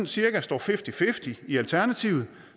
cirka står fifty fifty i alternativet